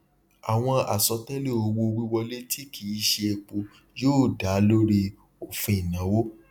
àwọn àsọtẹlẹ owó wíwọlé tí kìí ṣe epo yóò da lórí òfin ìnáwó